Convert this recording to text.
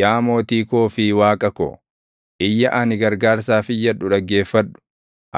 Yaa mootii koo fi Waaqa ko, iyya ani gargaarsaaf iyyadhu dhaggeeffadhu;